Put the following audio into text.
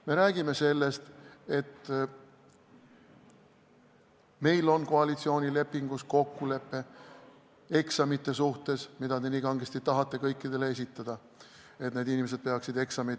Me räägime sellest, et meil on koalitsioonilepingus kokkulepe eksamite suhtes, mida te nii kangesti tahate kõikidel lasta teha.